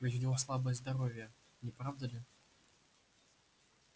ведь у него слабое здоровье не правда ли